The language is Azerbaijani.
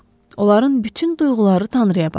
Onların bütün duyğuları Tanrıya bağlıdır.